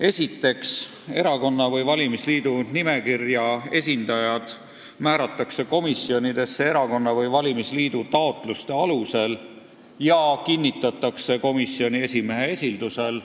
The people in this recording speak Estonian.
Esiteks, erakonna või valimisliidu nimekirja esindajad määratakse komisjonidesse erakonna või valimisliidu taotluste alusel ja kinnitatakse komisjoni esimehe esildusel.